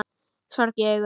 Sorg í augum.